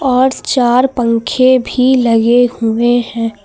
और चार पंखे भी लगे हुए हैं।